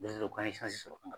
k'an ye sɔrɔ.